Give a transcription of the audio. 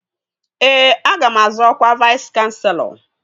Ee, aga m azọ ọkwa Vais kanselọ